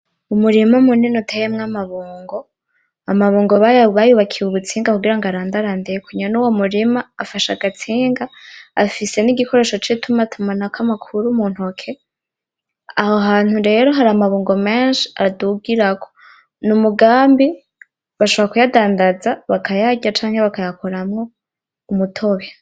Umurima munini uteyemwo amabungo, amabungo bayubakiye ubutsinga kugira ngo arandarandeko, nyene uwo murima afashe agatsinga afise n'igikoresho c'itumatumanako amakuru mu ntoke, aho hantu rero hari amabungo menshi adugirako ni umugambi bashobora kuyadandaza bakayarya canke bakayakuramwo umutobe.